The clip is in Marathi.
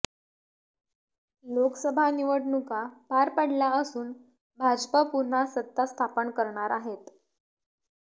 लोकसभा निवडणुका पार पडल्या असून भाजपा पुन्हा सत्ता स्थापन करणार आहेत